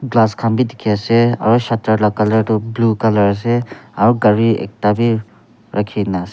glass khan bi dikhi ase aro shutter la colour toh blue colour ase aro gari ekta wi rakhi na ase.